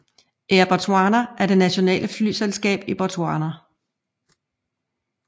Air Botswana er det nationale flyselskab i Botswana